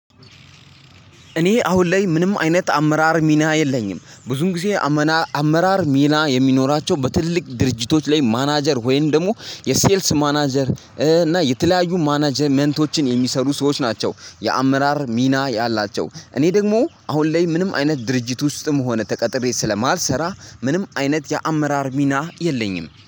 እኔ አሁን ላይ ምንም አይነት አመራር ሚና የለኝም። ብዙም ጊዜ አመና አመራር ሚና የሚኖራቸው በትልቅ ድርጅቶች ላይ ማናጀር ወይም ደግሞ የሴልስ ማናጀር እና የተለያዩ ማናጀርመንቶችን የሚሰሩ ሰዎች ናቸው የአመራር ሚና ያላቸው። እኔ ደግሞ አሁን ላይ ምንም አይነት ድርጅት ውስጥም ሆነ ተቀጥሬ ስለማልሰራ ምንም አይነት የአመራር ሚና የለኝም